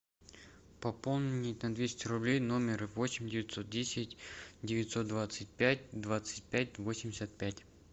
пополнить на двести рублей номер восемь девятьсот десять девятьсот двадцать пять двадцать пять восемьдесят пять